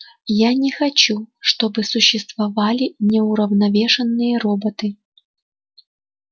я не хочу чтобы существовали неуравновешенные роботы